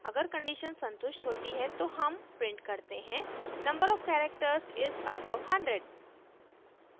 अगर condition संतुष्ट होती है तो हम print करते हैं number of characters is above hundred